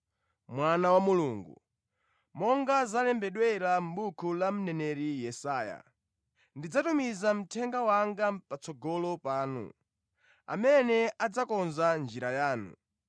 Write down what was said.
monga zalembedwera mʼbuku la mneneri Yesaya: “Ine ndidzatuma mthenga wanga patsogolo panu, amene adzakonza njira yanu,”